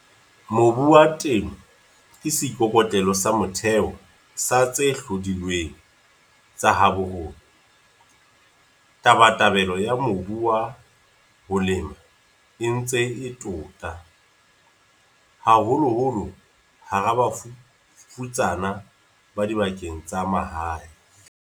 Mobu wa Temo ke seikokotlelo sa motheo sa dihlodilweng tsa habo rona. Tabatabelo ya mobu wa ho lema e ntse e tota, haholoholo hara bafutsana ba dibakeng tsa mahae.